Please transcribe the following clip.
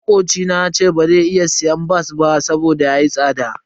Makocina yace bazai iya siyan bas ba saboda yayi tsada.